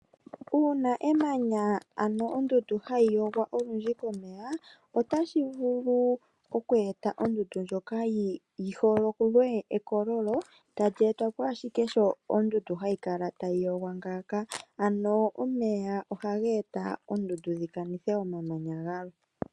Uuna emanya nenge ondundu hayi yogwa unene komeya otashi vulu oku eta ondundu ndjoka yi hokwe ekololo tali etwa ashike sho ondundu hayi kala tayi lokwa ngaaka ,Ano omeya ohaga eta oondundu dhikanithe omamanya gayo.